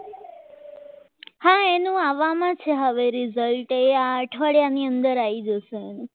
એનો આવવામાં છે હવે result એ અઠવાડિયાની અંદર આવી જશે